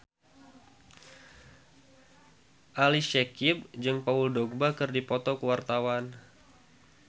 Ali Syakieb jeung Paul Dogba keur dipoto ku wartawan